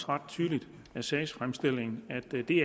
ret tydeligt af sagsfremstillingen at der er det